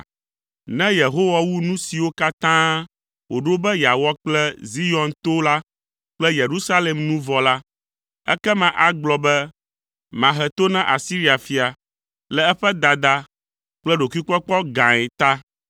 Ne Yehowa wu nu siwo katã wòɖo be yeawɔ kple Zion to la kple Yerusalem nu vɔ la, ekema agblɔ be, “Mahe to na Asiria fia le eƒe dada kple ɖokuikpɔkpɔ gãe ta.